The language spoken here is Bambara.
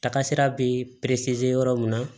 Taga sira be perese yɔrɔ min na